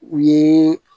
U ye